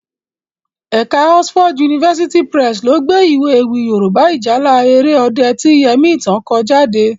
Ẹ̀ka Oxford University Press lo gbé Iwé ewì Yorùbá 'Ìjálá Èrè Ọdẹ' ti Yẹmítán ko jade